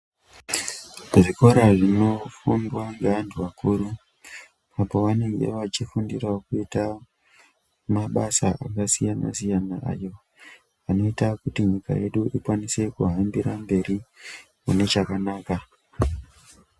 Zvikora zvinofundwa neantu akuru panenge achifundirawo kuita mabasa akasiyana siyana kuita kuti ndaramo yedu ikwanise kuhambira mberi nechakanaka.